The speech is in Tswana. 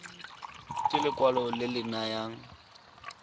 ke lekwalo le le nayang